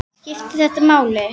Skiptir þetta máli??